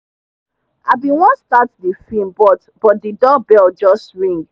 i bin want start the film but but the doorbell just ring